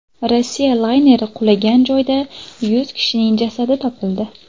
Rossiya layneri qulagan joyda yuz kishining jasadi topildi.